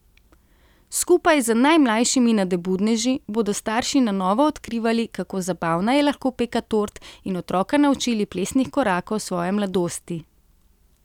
Skupaj z najmlajšimi nadobudneži bodo starši na novo odkrivali, kako zabavna je lahko peka tort, in otroka naučili plesnih korakov svoje mladosti.